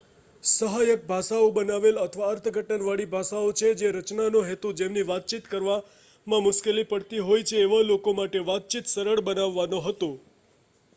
સહાયક ભાષાઓ બનાવેલ અથવા અર્થઘટન વળી ભાષાઓ છે જેની રચના નો હેતુ જેમને વાતચીત કરવામાં મુશ્કેલી પડતી હોય છે એવા લોકો માટે વાતચીત સરળ બનાવવાનો હતો